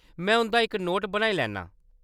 में उंʼदा इक नोट बनाई लैन्नां ।